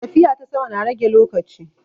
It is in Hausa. Tafiya ta sama na rage lokaci.